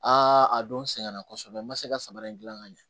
a don sɛgɛn na kosɛbɛ n ma se ka samara in gilan ka ɲɛ